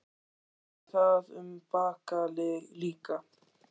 Kristján: Gildir það um Bakka líka?